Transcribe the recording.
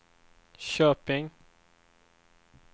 Köping